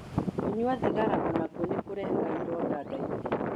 Kũnyua thigara o nakuo nĩ kũrehaga ironda nda-inĩ